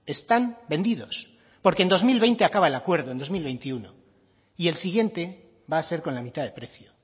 están vendidos porque en dos mil veinte acaba el acuerdo en dos mil veintiuno y el siguiente va a ser con la mitad de precio